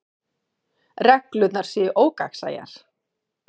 Reglurnar séu ógagnsæjar